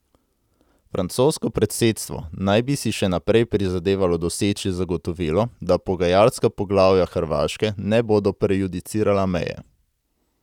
Francosko predsedstvo naj bi si še naprej prizadevalo doseči zagotovilo, da pogajalska poglavja Hrvaške ne bodo prejudicirala meje.